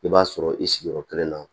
I b'a sɔrɔ i sigiyɔrɔ kelen na